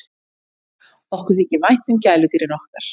Okkur þykir vænt um gæludýrin okkar.